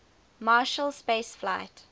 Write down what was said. marshall space flight